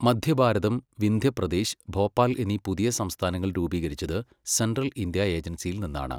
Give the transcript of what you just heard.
മദ്ധ്യഭാരതം, വിന്ധ്യപ്രദേശ്, ഭോപ്പാൽ എന്നീ പുതിയ സംസ്ഥാനങ്ങൾ രൂപീകരിച്ചത് സെൻട്രൽ ഇന്ത്യ ഏജൻസിയിൽ നിന്നാണ്.